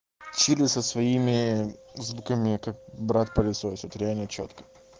чили со своими звуками как брат пылесосит реально чётко